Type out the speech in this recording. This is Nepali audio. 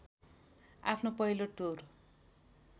आफ्नो पहिलो टुर